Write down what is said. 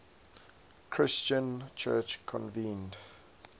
christian church convened